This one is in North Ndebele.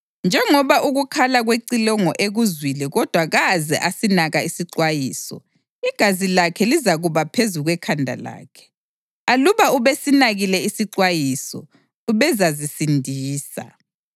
Njengoba ukukhala kwecilongo ekuzwile kodwa kaze asinaka isixwayiso, igazi lakhe lizakuba phezu kwekhanda lakhe. Aluba ubesinakile isixwayiso, ubezazisindisa.